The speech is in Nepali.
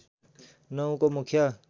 ९ को मुख्य